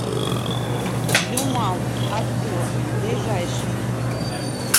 юмал авто ближайший